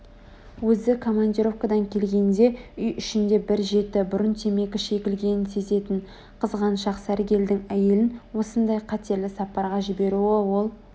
Өзі командировкадан келгенде үй ішінде бір жеті бұрын темекі шегілгенін сезетін қызғаншақ сәргелдің әйелін осындай қатерлі сапарға жіберуі ол